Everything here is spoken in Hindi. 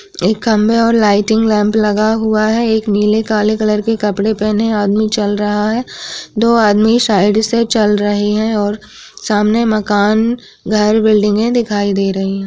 एक खंबे (खंभे) और लाइटिंग लैम्प लगा हुआ है। एक नीले-काले कलर के कपड़े पहने हुए आदमी चल रहा है। दो आदमी साइड से चल रहे हैं और सामने मकान घर बिल्डिंगे दिखाई दे रही हैं।